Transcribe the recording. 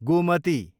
Gomti